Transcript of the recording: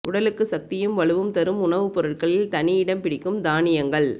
உடலுக்கு சக்தியும் வலுவும் தரும் உணவுப் பொருட்களில் தனியிடம் பிடிக்கும் தானியங்கள்